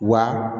Wa